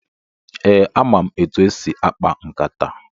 Ee, ama m etu esi akpa nkata.